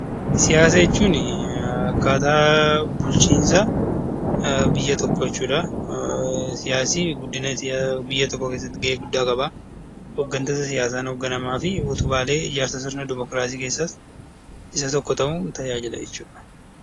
Siyaasa jechuun akkaataa bulchiinsa biyya tokkoo jechuudha. Siyaasni guddina biyya tokkoo keessatti gahee guddaa qaba. Hooggantoota siyaasaan hoogganamaa fi utubaalee sirna dimokiraasii keessaas Isa tokko ta'uun tajaajila jechuudha